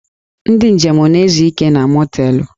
Ndị njem na-ezu ike na mọteelụ